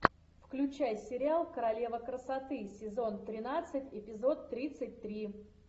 включай сериал королева красоты сезон тринадцать эпизод тридцать три